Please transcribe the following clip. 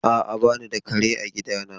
A'a, ba ni da kare a gidana.